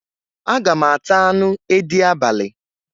Aga m ata anu edi abali